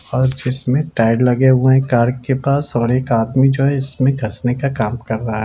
और जिसमे टायर लगे हुए है कार के पास और एक आदमी जो है वो इसमें घसने का काम कर रहा --